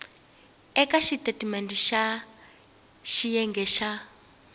eka xitatimendhe xa xiyenge xa